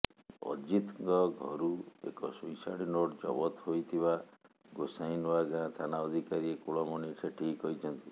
ଅଜିତଙ୍କ ଘରୁ ଏକ ସୁଇସାଇଡ୍ ନୋଟ୍ ଜବତ ହୋଇଥିବା ଗୋସାଇଁନୂଆଗାଁ ଥାନା ଅଧିକାରୀ କୁଳମଣି ସେଠୀ କହିଛନ୍ତି